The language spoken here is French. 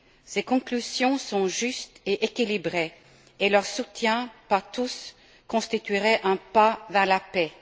Ses conclusions sont justes et équilibrées et leur soutien par tous constituerait un pas vers la paix.